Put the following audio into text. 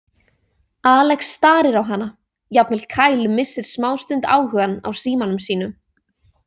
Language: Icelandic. Alex starir á hana, jafnvel Kyle missir smástund áhugann á símanum sínum.